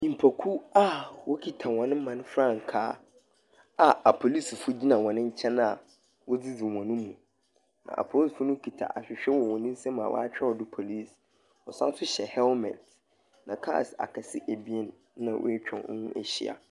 Nnipakuw a wɔkita wɔn man frankaa a apolisifoɔ gyina wɔn nkyɛn a wodzidzi wɔn mu. Apolisifoɔ no kita ahwehwɛ wɔ wɔn nsam a wɔatwerɛ do police. Wɔsan nso hyɛ helmet, na kaa akɛse ebien na atwa wɔn ho ahyia.